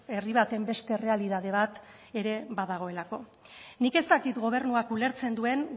herri baten beste errealitate bat ere badagoelako nik ez dakit gobernuak ulertzen duen